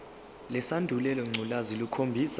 lesandulela ngculazi lukhombisa